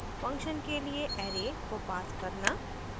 function के लिए array को पास करना